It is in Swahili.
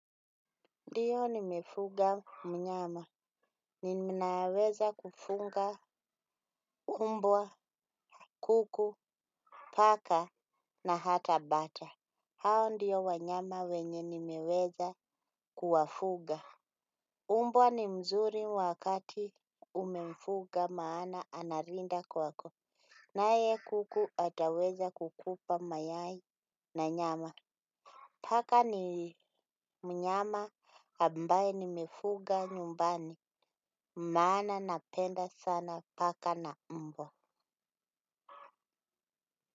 Ndiyo nimefuga mnyama, ninaweza kufunga umbwa, kuku, paka na hata bata. Hao ndiyo wanyama wenye nimeweza kuwafuga. Umbwa ni mzuri wakati umemfuga maana analinda kwako. Naye kuku ataweza kukupa mayai na nyama. Paka ni mnyama ambaye nimefuga nyumbani, maana napenda sana paka na mbwa.